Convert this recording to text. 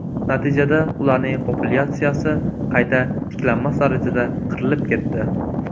Natijada, ularning populyatsiyasi qayta tiklanmas darajada qirilib ketdi.